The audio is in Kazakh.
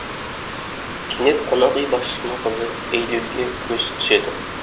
кенет қонақүй басшысының қызы эйлюлге көзі түседі